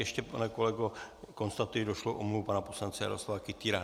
Ještě, pane kolego, konstatuji došlou omluvu pana poslance Jaroslava Kytýra.